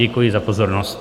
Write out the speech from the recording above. Děkuji za pozornost.